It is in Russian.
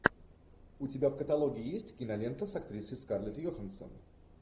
у тебя в каталоге есть кинолента с актрисой скарлетт йоханссон